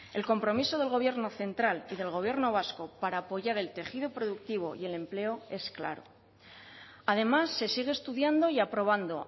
el compromiso del gobierno central y del gobierno vasco para apoyar el tejido productivo y el empleo es claro además se sigue estudiando y aprobando